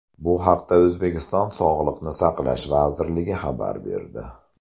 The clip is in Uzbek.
Bu haqda O‘zbekiston Sog‘liqni saqlash vazirligi xabar berdi .